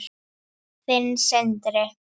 Þinn, Sindri.